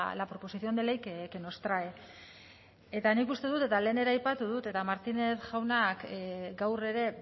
la proposición de ley que nos trae eta nik uste dut eta lehen ere aipatu dut eta martínez jaunak gaur ere